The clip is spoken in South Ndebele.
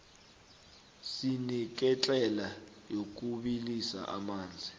sineketlela yokubilisa amanzi